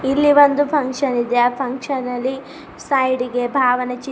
ಇಲ್ಲಿ ಒಂದು ಫಂಕ್ಷನ್ ಇದೆ ಆ ಫಂಕ್ಷನ್ ಅಲಿ ಸೈಡಿಗೆ ಭಾವನ ಚಿ--